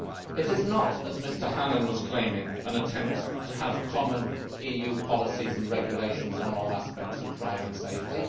It is not, as Mr Hannan was claiming, an attempt to have common EU policies and regulations on all aspects of driving safety.